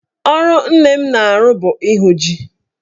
Ọrụ nne m na-arụ bụ ịhụ ji.